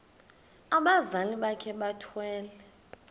abazali bakhe bethwele